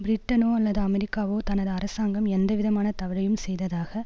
பிரிட்டனோ அல்லது அமெரிக்காவோ தனது அரசாங்கம் எந்தவிதமான தவறையும் செய்ததாக